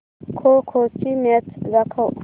खो खो ची मॅच दाखव